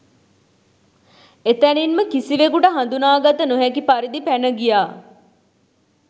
එතැනින්ම කිසිවෙකුට හඳුනාගත නොහැකි පරිදි පැන ගියා